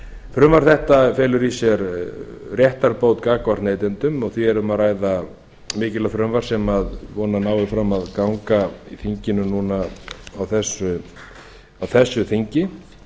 frumvarp þetta felur í sér réttarbót gagnvart neytendum því er hér um að ræða frumvarp sem mikilvægt sem ég vona að nái fram að ganga á þinginu núna á þessu þingi